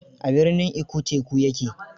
A birnin Ikko teku ya ke.